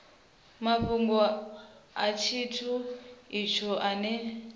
mafhungo a tshithu itsho tshine